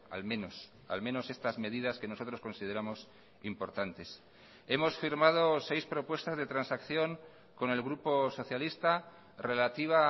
al menos al menos estas medidas que nosotros consideramos importantes hemos firmado seis propuestas de transacción con el grupo socialista relativa